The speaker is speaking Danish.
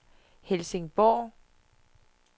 Helsingborg